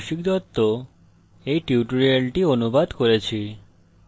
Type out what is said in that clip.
আমি কৌশিক দত্ত এই টিউটোরিয়ালটি অনুবাদ করেছি অংশগ্রহনের জন্য ধন্যবাদ